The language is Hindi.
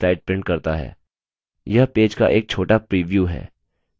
यह पेज का एक छोटा प्रीव्यू है